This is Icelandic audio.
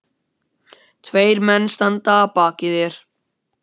Um stærð og útlínur landsins á tertíer er lítið vitað.